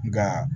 Nka